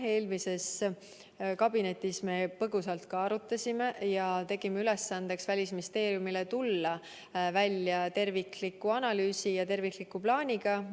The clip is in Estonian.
Eelmises kabinetis me põgusalt arutasime seda ja tegime Välisministeeriumile ülesandeks tulla välja tervikliku analüüsi ja plaaniga.